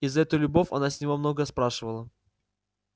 и за эту любовь она с него много спрашивала